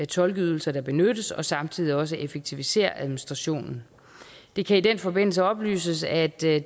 tolkeydelser der benyttes og samtidig også at effektivisere administrationen det kan i den forbindelse oplyses at det